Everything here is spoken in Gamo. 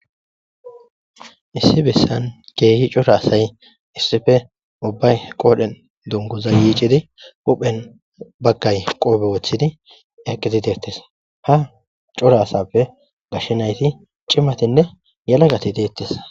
Issi bessan keehi cora asay uubbay qodhen dunguza yiccidi huphphen baggay qoppe woththidi eqidi dettes ha cora asappe cimatinne yelagatti dettes